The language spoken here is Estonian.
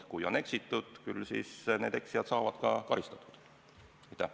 Kui on eksitud, siis küll need eksijad ka karistatud saavad.